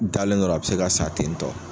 Dalen dɔrɔ a bi se ka sa ten tɔ